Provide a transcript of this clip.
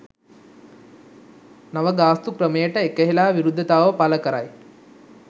නව ගාස්තු ක්‍රමයට එකහෙලා විරුද්ධතාව පළ කරයි.